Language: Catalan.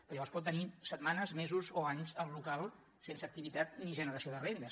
perquè llavors pot tenir setmanes mesos o anys el local sense activitat ni generació de rendes